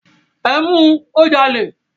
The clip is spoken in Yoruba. Ẹ mu, ó jalè.